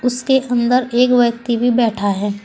उसके अंदर एक व्यक्ति भी बैठा है।